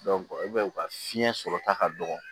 e b'a ye u ka fiɲɛ sɔrɔ ta ka dɔgɔ